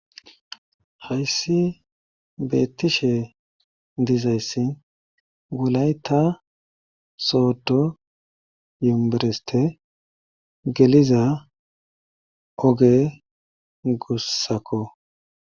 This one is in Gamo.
Hayssi beettishe dizayssi golay ta soodo yumbereste geliza oge gussakko.